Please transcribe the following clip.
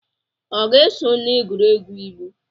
Ọ ga-eso na egwuregwu ilu?